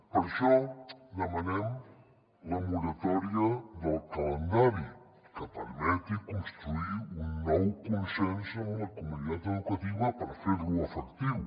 per això demanem la moratòria del calendari que permeti construir un nou consens amb la comunitat educativa per fer lo efectiu